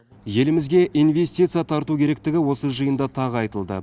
елімізге инвестиция тарту керектігі осы жиында тағы айтылды